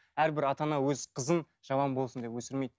әрбір ата ана өз қызын жаман болсын деп өсірмейді